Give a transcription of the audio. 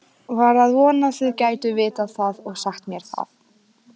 Var að vona þið gætuð vitað það og sagt mér það.